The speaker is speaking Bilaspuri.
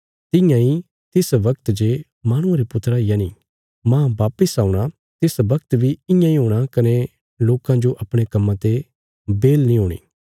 तियां इ तिस बगत जे माहणुये रे पुत्रा यनि मांह वापस औणा तिस वगत बी इयां इ हूणा कने लोकां जो अपणे कम्मां ते बेहल नीं हूणी